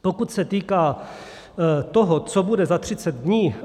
Pokud se týká toho, co bude za 30 dní.